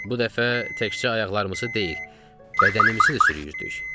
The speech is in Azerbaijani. Bu dəfə təkcə ayaqlarımızı deyil, bədənimizi də sürüyürdük.